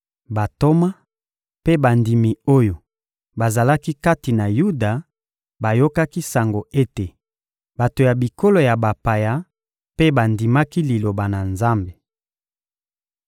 Bantoma mpe bandimi oyo bazalaki kati na Yuda bayokaki sango ete bato ya bikolo ya bapaya mpe bandimaki Liloba na Nzambe.